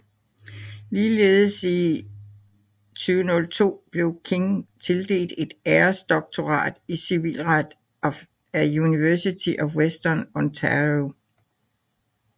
Ligeledes i 2002 blev King tildelt et æresdoktorat i civilret af University of Western Ontario